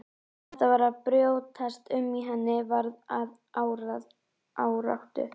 Þetta var að brjótast um í henni, varð að áráttu.